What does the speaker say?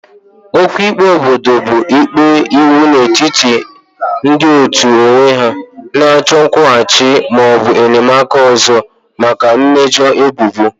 Okwu ikpe obodo bụ ikpe iwu n'etiti ndị otu onwe ha na-achọ nkwụghachi ma ọ bụ enyemaka ọzọ maka mmejọ ebubo.